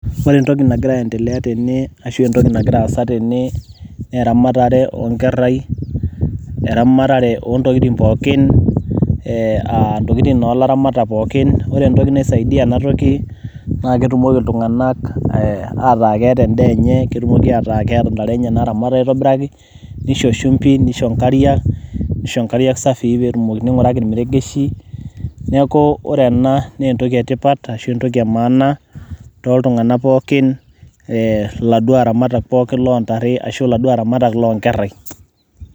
ore entoki nagira aendele tene, ashu entoki nagira aasa tene naa eramatare nkerai. eramatare oo ntokitin pookin. intokitin olaramatak pookin. ore entoki naisaidia ena toki naa ketumoki iltunganak ataa keeta edaa enye. ketumoki ataa keeta ntare enye naaramat aitobiraki. nisho shumpi, nisho nkariak. nisho nkariak safii. ning'uraki irmeregeshi, neeku ore ena naa entoki etipat, naa entoki emaana tooltunganak pookin. iladuoo aramatak loo ntare arashu iladuo aramatak loonkerai.